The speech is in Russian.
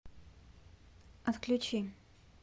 отключи